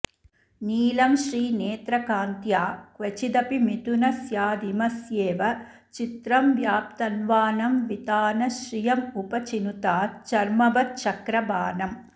नीलं श्रीनेत्रकान्त्या क्वचिदपि मिथुनस्यादिमस्येव चित्रं व्याप्तन्वानं वितानश्रियमुपचिनुताच्छर्म वश्चक्रभानम्